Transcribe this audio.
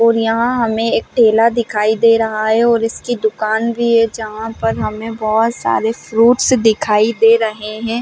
और यहाँ हमें एक ठेला दिखाई दे रहा है और इसकी दुकान भी है जहाँ पर हमें बोहोत सारे फ्रूट्स दिखाई दे रहे है।